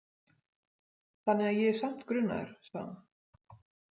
Þannig að ég er samt grunaður, sagði hann.